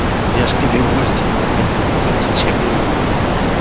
я ж к тебе в гости не заходил зачем зачем мне его мыть